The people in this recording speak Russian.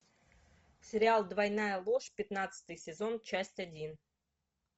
сериал двойная ложь пятнадцатый сезон часть один